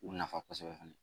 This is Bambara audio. U nafa kosɛbɛ fana